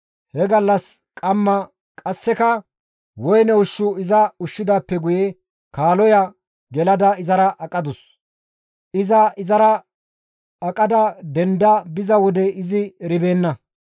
He gallas qamma qasseka woyne ushshu iza ushshidaappe guye kaaloya gelada izara aqadus; iza izara aqada denda biza wode izi eribeenna.